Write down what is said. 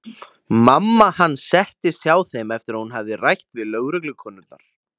Mamma hans settist hjá þeim eftir að hún hafði rætt við lögreglukonurnar.